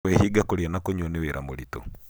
kũĩhinga kũria na kũnyua nĩ wĩra mũritũ.